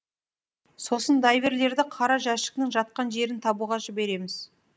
сосын дайверлерді қара жәшіктің жатқан жерін табуға жібереміз